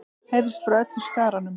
heyrðist frá öllum skaranum.